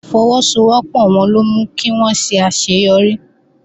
Ìfọwọ́sowọ́pọ̀ wọn ló mú kí wón ṣe àṣeyọrí